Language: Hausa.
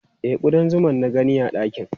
E, kuɗan zuma na gani a ɗakin.